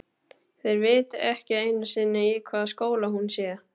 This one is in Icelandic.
Þeir viti ekki einu sinni í hvaða skóla hún sé.